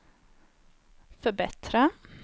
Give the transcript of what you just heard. förbättra